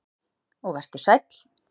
Og vertu sæll.